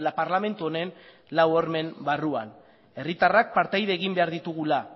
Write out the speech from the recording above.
parlamentu honen lau hormen barruan herritarrak partaide egin behar ditugula